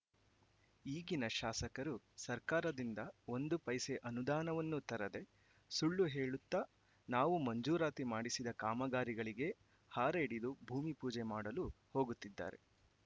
ಈಗಿನ ಶಾಸಕರು ಸರ್ಕಾರದಿಂದ ಒಂದು ಪೈಸೆ ಅನುದಾನವನ್ನೂ ತರದೆ ಸುಳ್ಳು ಹೇಳುತ್ತಾ ನಾವು ಮುಂಜೂರಾತಿ ಮಾಡಿಸಿದ ಕಾಮಗಾರಿಗಳಿಗೇ ಹಾರೆ ಹಿಡಿದು ಭೂಮಿಪೂಜೆ ಮಾಡಲು ಹೋಗುತ್ತಿದ್ದಾರೆ